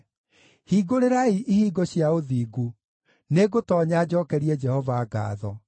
Hingũrĩrai ihingo cia ũthingu; nĩngũtoonya njookerie Jehova ngaatho.